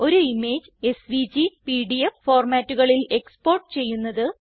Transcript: ഒരു image SVG PDF ഫോർമാറ്റുകളിൽ export ചെയ്യുന്നത്